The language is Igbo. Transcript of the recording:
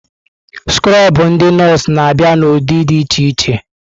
Skrobụ ndị nọọsụ na-abịa n'ụdị dị iche iche.